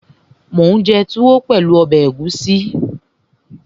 Mò ún jẹ túwó pẹ̀lú ọbẹ̀ ẹ̀gúsí